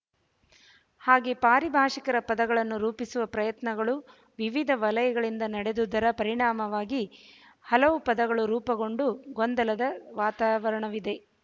ಹಾಗೆ ಪಾರಿಭಾಶಿಕರ ಪದಗಳನ್ನು ರೂಪಿಸುವ ಪ್ರಯತ್ನಗಳು ವಿವಿಧ ವಲಯಗಳಿಂದ ನಡೆದುದರ ಪರಿಣಾಮವಾಗಿ ಹಲವು ಪದಗಳು ರೂಪುಗೊಂಡ ಗೊಂದಲದ ವಾತಾವರಣವಿದೆ